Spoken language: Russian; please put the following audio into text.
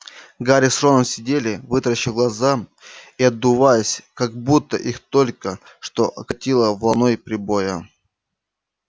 гарри с роном сидели вытаращив глаза и отдуваясь как будто их только что окатило волной прибоя